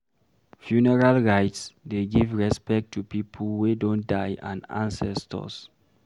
Funeral rites dey give respect to pipo wey don die and ancestors